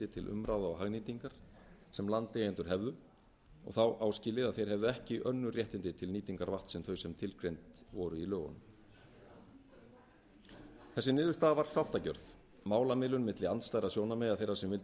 til umráða og hagnýtingar sem landeigendur hefðu og þá áskilið að þeir hefðu ekki önnur réttindi til nýtingar vatns sem þau tilgreind voru í lögunum þessi niðurstaða var sáttargjörð málamiðlun milli andstæðra sjónarmiða þeirra sem vildu